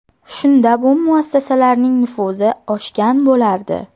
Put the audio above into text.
Shunda bu muassasalarning nufuzi oshgan bo‘lardi.